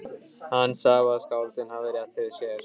Hann sá að skáldið hafði rétt fyrir sér.